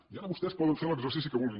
i ara vostès poden fer l’exercici que vulguin